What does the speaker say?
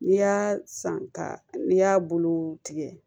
N'i y'a san ka n'i y'a bulu tigɛ